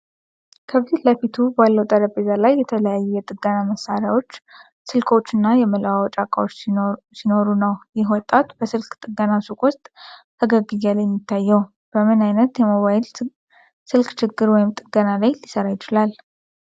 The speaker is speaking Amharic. ከፊት ለፊቱ ባለው ጠረጴዛ ላይ የተለያዩ የጥገና መሣሪያዎች፣ ስልኮች እና የመለዋወጫ ዕቃዎች ሲኖሩ ነው። ይህ ወጣት በስልክ ጥገና ሱቁ ውስጥ ፈገግ እያለ የሚታየው፣ በምን አይነት የሞባይል ስልክ ችግር ወይም ጥገና ላይ ሊሰራ ይችላል?